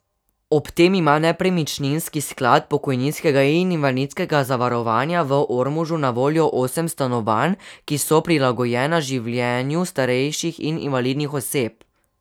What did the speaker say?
Ob tem ima Nepremičninski sklad pokojninskega in invalidskega zavarovanja v Ormožu na voljo osem stanovanj, ki so prilagojena življenju starejših in invalidnih oseb.